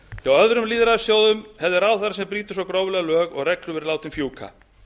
hjá öðrum lýðræðisþjóðum hefði ráðherra sem brýtur svo gróflega lög og reglur verið látinn fjúka